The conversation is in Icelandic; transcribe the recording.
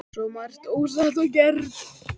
Svo margt ósagt og ógert.